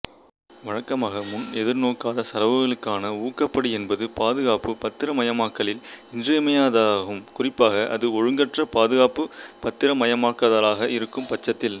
வழக்கமாக முன் எதிர்நோக்காத செலவுகளுக்கான ஊக்கப்படி என்பது பாதுகாப்புப் பத்திரமயமாக்கலில் இன்றியமையாததாகும் குறிப்பாக அது ஒழுங்கற்ற பாதுகாப்புப் பத்திரமயமாக்கலாக இருக்கும்பட்சத்தில்